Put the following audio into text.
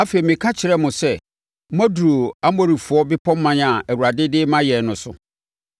Afei, meka kyerɛɛ mo sɛ, “Moaduru Amorifoɔ bepɔman a Awurade de rema yɛn no so.